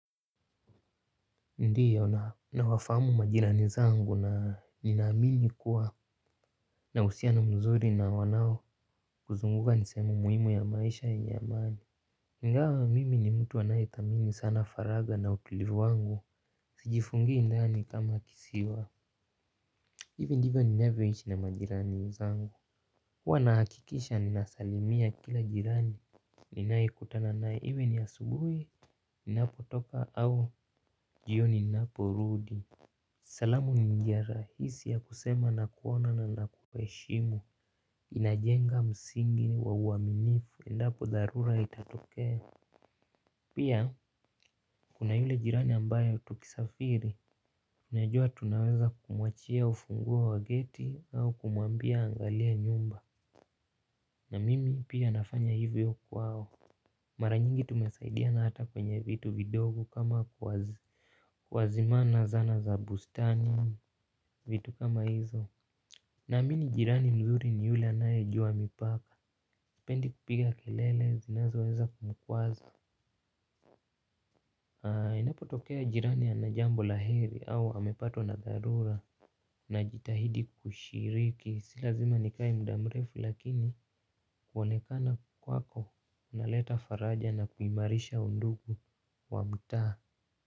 Ndio na nawafamu majirani zangu na ninaamini kuwa na uhusiano mzuri na wanao kuzunguka nisehemu muhimu ya maisha yenye amani. Ingawa mimi ni mtu anayethamini sana faragha na utulivu wangu sijifungii ndani kama kisiwa. Hivi ndivyo ninavyoishi na majirani zangu. Huwa nahakikisha ninasalimia kila jirani ninayekutana naye iwe ni asubuhi ninapotoka au jioni ninaporudi. Salamu ni njia rahisi ya kusema nakuona na nakuheshimu. Inajenga msingi wa uwaminifu endapo dharura itatokea. Pia, kuna yule jirani ambayo tukisafiri unajua tunaweza kumuachia ufunguo wa geti au kumwambia aangalie nyumba. Na mimi pia nafanya hivyo kwao. Mara nyingi tumesaidiana hata kwenye vitu vidogo kama kuwazimana zana za bustani vitu kama hizo. Naamini jirani mzuri ni yule anayejua mipaka. Sipendi kupiga kelele zinazoweza kumkwaza, inapotokea jirani anajambo la heri au amepatwa na dharura najitahidi kushiriki sila zima nikae muda mrefu lakini kuwanekana kwako unaleta faraja na kuimarisha undugu wa mtaa.